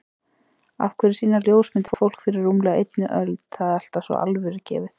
Af hverju sýna ljósmyndir fólk fyrir rúmlega einni öld það alltaf svo alvörugefið?